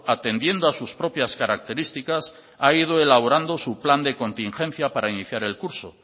atendiendo a sus propias características ha ido elaborando su plan de contingencia para iniciar el curso